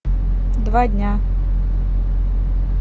два дня